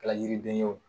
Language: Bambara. Kɛla yiriden ye o